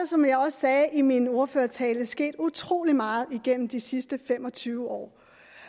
som jeg også sagde i min ordførertale sket utrolig meget igennem de sidste fem og tyve år